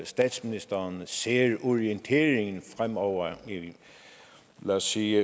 statsministeren ser orienteringen fremover lad os sige